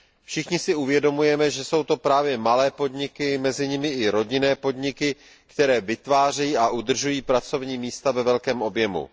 Všichni si uvědomujeme, že jsou to právě malé podniky, mezi nimi i rodinné podniky, které vytvářejí a udržují pracovní místa ve velkém objemu.